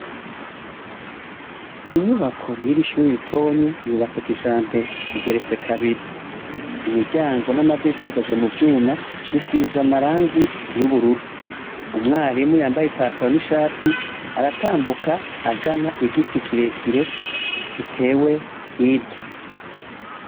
Inyubako yiri shure ritonyi yubatse kijambere igeretse kabiri imiryango n'amadirisha bikozwe mu vyuma bisize amarangi y'ubururu, umwarimu yambaye ipatalo n'ishati aratambuka agana igiti kirekire gitewe hirya.